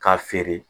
K'a feere